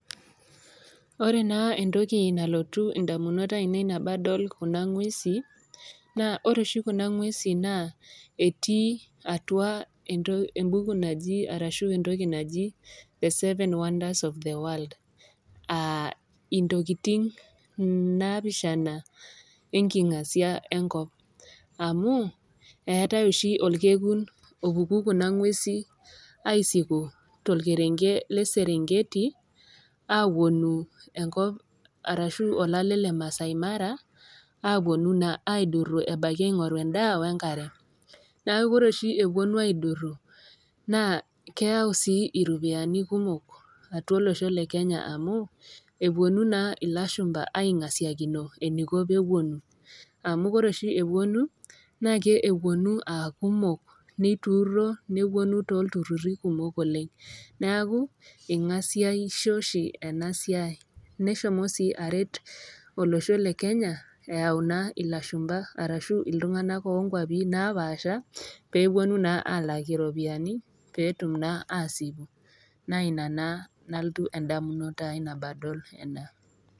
Ore naa entoki nalotu indamunot aainei tenadol Kuna ng'uesi, naa ore oshi kuna ng'uesi naa naa etii atua embuku naji ashu entoki naji the seven wonders of the world aa intokitin napishana enkingasia enkop, amu eatai oshi olkekun opuku Kuna ng'uesi aisiku tolkerenket le Serengeti apuonu enkop arashu olale le Maasai mara apuonu naa aidoru naa aing'oru endaa we enkare, neaku ore oshi ewuonu aiduru, naa keyau sii iropiani kumok atua olosho le Kenya amu, epuonu naa ilashumba aingasiakino eneiko pee epuonu, amu ore oshi epuonu, naake epuonu aa kumok neituuro, nepuonu tooltururi kumok oleng'. Neaku eingasiaisho oshi ena siai. Neshomo sii aret olosho le Kenya eyau naa ilashumba arashu iltung'ana oo nkwapi napaasha, peepuonu naa alak iropiani peetum naa aasipu naa Ina naa nalotu indamunot aii nabo adol ena.